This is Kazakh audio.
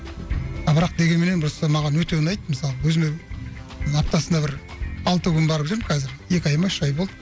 а бірақ дегенменен просто маған өте ұнайды мысалы өзіме аптасына бір алты күн барып жүрмін қазір екі ай ма үш ай болды